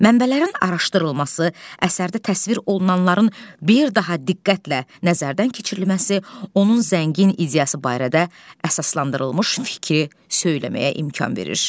Mənbələrin araşdırılması, əsərdə təsvir olunanların bir daha diqqətlə nəzərdən keçirilməsi, onun zəngin ideyası barədə əsaslandırılmış fikri söyləməyə imkan verir.